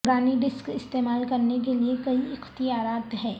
پرانی ڈسک استعمال کرنے کے لئے کئی اختیارات ہیں